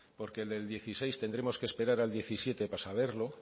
porque el del dos mil dieciséis tendremos que esperar al dos mil diecisiete para saberlo